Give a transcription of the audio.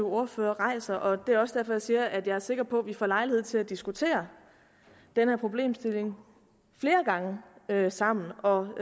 ordfører rejser og det er også derfor jeg siger at jeg er sikker på at vi får lejlighed til at diskutere den her problemstilling flere gange sammen og